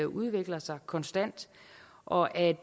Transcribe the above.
udvikler sig konstant og at